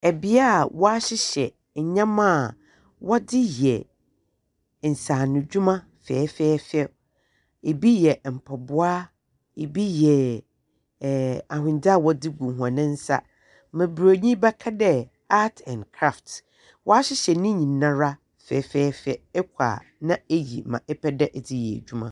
Beaeɛ a wɔahyehyɛ nneema a wɔde yɛ nsanodwuma fɛfɛɛfɛw. Ebi yɛ mpaboa, ebi yɛ ahondze a wɔde gu hɔn nsa nea broni bɛka dɛ art and craft. Wɔahyehyɛ ne nyinaa ara fɛfɛɛfɛ. Ɛkɔ a na ɛyi nea ɛpɛ dɛ wɔdeyɛ adwuma.